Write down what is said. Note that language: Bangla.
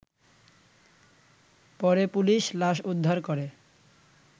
পরে পুলিশ লাশ উদ্ধার করে